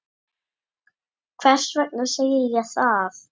Hvers vegna segi ég það?